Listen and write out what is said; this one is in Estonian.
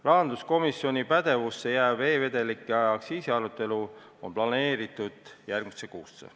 Rahanduskomisjoni pädevusse jääv e-vedelike aktsiisi arutelu on planeeritud järgmisse kuusse.